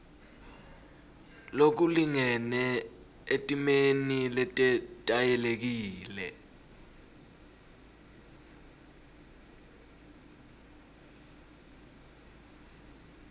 lokulingene etimeni letetayelekile